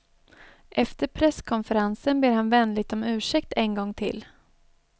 Efter presskonferensen ber han vänligt om ursäkt en gång till.